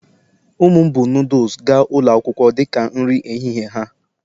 ụmụ m buu noodles gaa ụlọ akwụkwọ dị ka nri ehihie ha